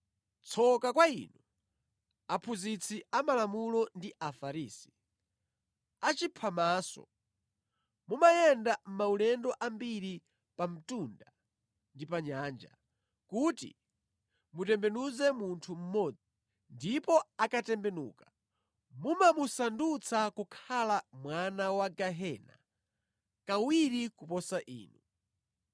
“Tsoka kwa inu, aphunzitsi amalamulo ndi Afarisi, achiphamaso! Mumayenda maulendo ambiri pa mtunda ndi pa nyanja kuti mutembenuze munthu mmodzi, ndipo akatembenuka, mumamusandutsa kukhala mwana wa gehena kawiri kuposa inu.